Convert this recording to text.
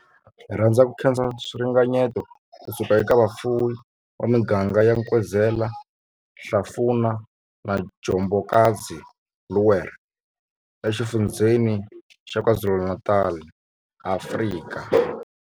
Hi rhandza ku khensa swiringanyeto ku suka eka vafuwi va miganga ya Nkwezela, Hlafuna na Njobokazi, Bulwer, eXifundzheni xa KwaZulu-Natal, Afrika.